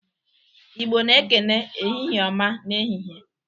Igbo na-ekene, "Ehihie ọma!" n'ehihie.